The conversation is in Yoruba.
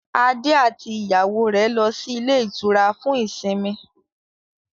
Adé àti ìyàwó rẹ̀ lọ sí ilé-ìtura fún ìsimi.